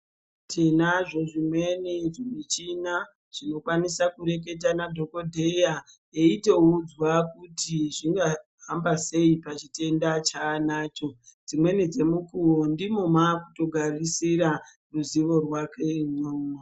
Tinazvo zvimweni michina tinokwanisa kureketa nadhokodheya teito udzwa kuti zvingahamba sei pachitenda chanacho dzimweni dzemukuwo ndimo makutogarisira ruzivo rwake imwomwo.